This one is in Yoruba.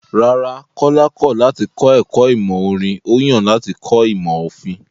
Rárá, Kọ́lá kọ̀ láti kọ ẹ̀kọ́ ìmọ̀ orin, ó yàn láti kọ́ ìmọ̀ òfin.